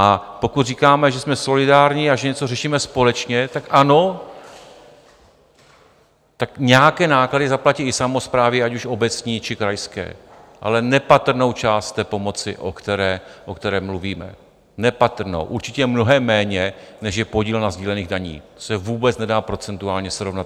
A pokud říkáme, že jsme solidární a že něco řešíme společně, tak ano, tak nějaké náklady zaplatí i samosprávy, ať už obecní, či krajské, ale nepatrnou část té pomoci, o které mluvíme, nepatrnou, určitě mnohem méně, než je podíl na sdílených daních, to se vůbec nedá procentuálně srovnat.